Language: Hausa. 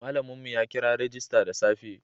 Malamin mu ya kira rajista da safe